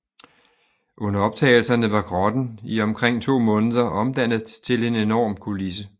Under optagelserne var grotten i omkring to måneder omdannet til en enorm kulisse